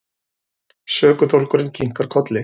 Sökudólgurinn kinkar kolli.